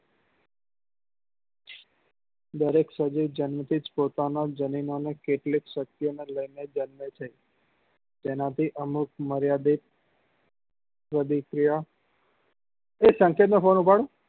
દરેક સજીવ જન્મ થી જ પોતાનો જનેના ની કેટલીક શક્તિઓ લઇ ને જ જન્મે છે તેના થી અમુક માર્યાદિત પ્રતિક્રિયા એ સંકેત નો ફોન ઉપાડો